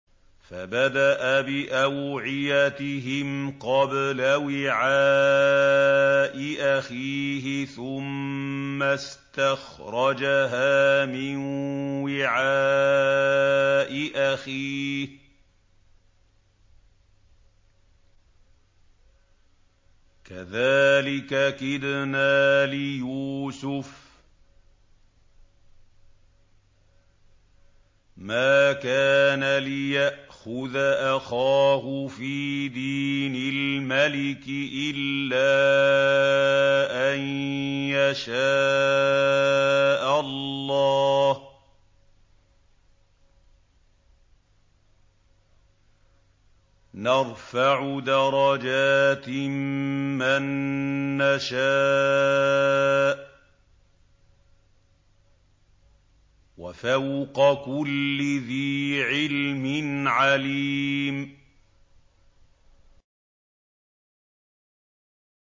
فَبَدَأَ بِأَوْعِيَتِهِمْ قَبْلَ وِعَاءِ أَخِيهِ ثُمَّ اسْتَخْرَجَهَا مِن وِعَاءِ أَخِيهِ ۚ كَذَٰلِكَ كِدْنَا لِيُوسُفَ ۖ مَا كَانَ لِيَأْخُذَ أَخَاهُ فِي دِينِ الْمَلِكِ إِلَّا أَن يَشَاءَ اللَّهُ ۚ نَرْفَعُ دَرَجَاتٍ مَّن نَّشَاءُ ۗ وَفَوْقَ كُلِّ ذِي عِلْمٍ عَلِيمٌ